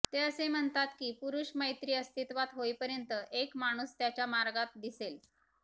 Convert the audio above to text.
ते असे म्हणतात की पुरुष मैत्री अस्तित्वात होईपर्यंत एक माणूस त्याच्या मार्गात दिसेल